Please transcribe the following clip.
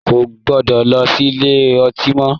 Ko gbọdọ̀ lọ sílé ọtí mọ!